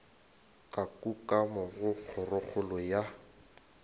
ka kukamo go kgorokgolo ya